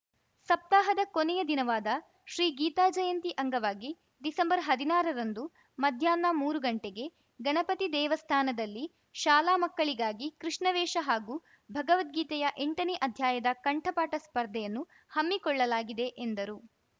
ಸಪ್ತಾಹದ ಕೊನೆಯ ದಿನವಾದ ಶ್ರೀಗೀತಾಜಯಂತಿ ಅಂಗವಾಗಿ ಡಿಸೆಂಬರ್ ಹದಿನಾರರಂದು ಮಧ್ಯಾಹ್ನ ಮೂರು ಗಂಟೆಗೆ ಗಣಪತಿ ದೇವಾಸ್ಥಾನದಲ್ಲಿ ಶಾಲಾ ಮಕ್ಕಳಿಗಾಗಿ ಕೃಷ್ಣವೇಷ ಹಾಗೂ ಭಗವದ್ಗೀತೆಯ ಎಂಟನೇ ಅಧ್ಯಾಯದ ಕಂಠಪಾಠ ಸ್ಪರ್ಧೆಯನ್ನು ಹಮ್ಮಿಕೊಳ್ಳಲಾಗಿದೆ ಎಂದರು